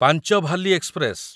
ପାଞ୍ଚଭାଲି express